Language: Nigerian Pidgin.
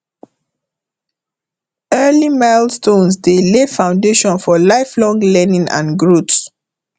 early milestones dey lay foundation for lifelong learning and growth